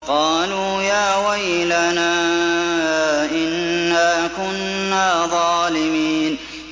قَالُوا يَا وَيْلَنَا إِنَّا كُنَّا ظَالِمِينَ